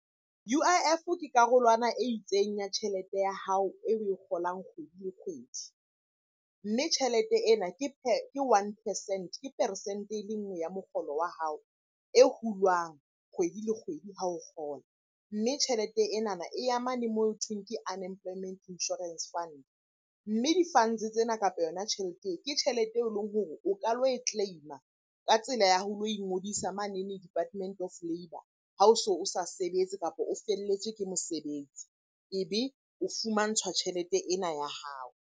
U_I_F-o ke karolwana e itseng ya tjhelete ya hao eo oe kgolang kgwedi le kgwedi. Mme tjhelete ena ke one percent, ke peresente e le nngwe ya mokgolo wa hao e hulwang kgwedi le kgwedi ha o kgola. Mme tjhelete enana e ya mane moo hothweng ke Unemployment Insurance Fund. Mme di-funds tsena, kapa yona tjhelete eo ke tjhelete e leng hore o ka lo e claim-a ka tsela ya ho lo ingodisa manene Department of Labour ha o so sa sebetse, kapa o felletswe ke mosebetsi. Ebe o fumantshwa tjhelete ena ya hao.